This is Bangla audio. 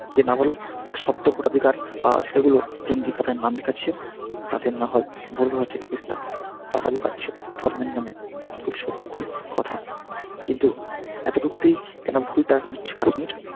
যে নাবালক বা সদ্য ভোটাধিকার আহ ছেলেগুলো জঙ্গি খাতায় নাম লেখাচ্ছে তাদের না হয় ভুল বুঝাচ্ছে পাকিস্তান ধর্মের নামে খুব সত্যি কথা কিন্তু এতোটুকুতেই কেন ভুলটা বুঝছে কাশ্মীর?